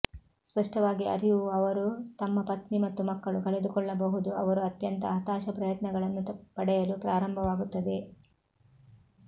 ಸ್ಪಷ್ಟವಾಗಿ ಅರಿವು ಅವರು ತಮ್ಮ ಪತ್ನಿ ಮತ್ತು ಮಕ್ಕಳು ಕಳೆದುಕೊಳ್ಳಬಹುದು ಅವರು ಅತ್ಯಂತ ಹತಾಶ ಪ್ರಯತ್ನಗಳನ್ನು ಪಡೆಯಲು ಪ್ರಾರಂಭವಾಗುತ್ತದೆ